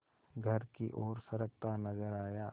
घर की ओर सरकता नजर आया